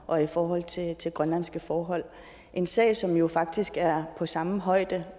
og i forhold til til grønlandske forhold en sag som jo faktisk er på samme højde